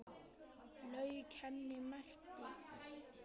Lauk henni og merkti.